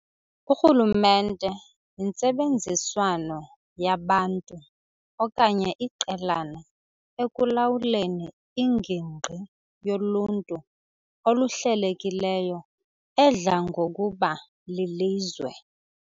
Urhulumente yintsebenziswano yabantu okanye iqelana ekulawuleni ingingqi yoluntu oluhlelekileyo edla ngokuba lilizwe.